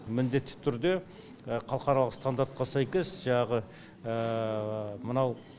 міндетті түрде халықаралық стандартқа сәйкес жаңағы мынау